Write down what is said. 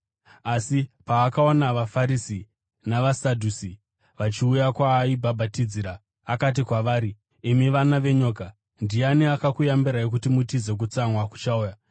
Asi paakaona vaFarisi navaSadhusi vachiuya kwaaibhabhatidzira akati kwavari, “Imi vana venyoka! Ndiani akakuyambirai kuti mutize kutsamwa kuchauya?